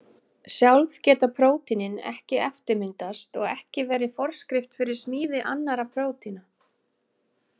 Sjálf geta prótínin ekki eftirmyndast og ekki verið forskrift fyrir smíði annarra prótína.